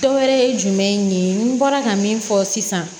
Dɔwɛrɛ ye jumɛn ye n bɔra ka min fɔ sisan